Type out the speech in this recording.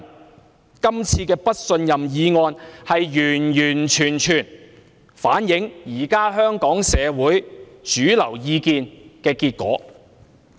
這次"對行政長官投不信任票"的議案，完完全全反映香港社會當前的主流意見的結果。